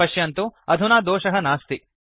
पश्यन्तु अधुना दोषः नास्ति